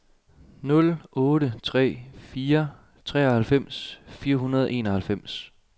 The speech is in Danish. nul otte tre fire treoghalvfems fire hundrede og enoghalvfems